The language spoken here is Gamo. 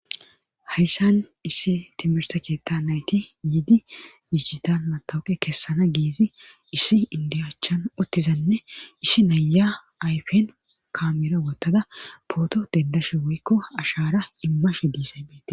Hayssan issi timirta keetta nayti yiidi diigitale matawuqe kessana giizi isshi indiyaachan ottizanne ishi naya ayfen kamira wottada pooto dendashe woykko ashara immashe disaybete.